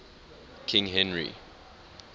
king henry